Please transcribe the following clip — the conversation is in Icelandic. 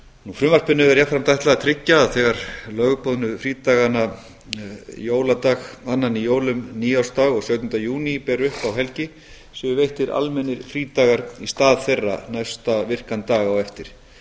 frumvarpinu er jafnframt ætlað að tryggja að þegar lögboðnu frídagana jóladag annan í jólum nýársdag og sautjánda júní ber upp á helgi séu veittir almennir frídagar í stað þeirra næsta virkan dag á eftir